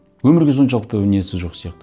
өмірге соншалықты несі жоқ сияқты